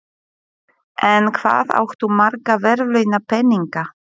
En hvað áttu marga verðlaunapeninga?